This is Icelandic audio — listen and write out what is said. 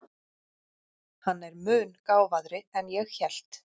Hann er mun gáfaðri en ég hélt.